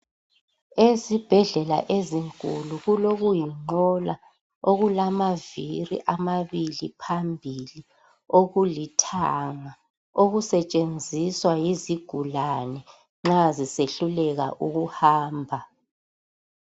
Ezibhedlela ezinkulu kulokuyinqola okulamavili amabili phambili okulithanga okusetshenziswa yizigulane nxa zisehluleka ukuhamba.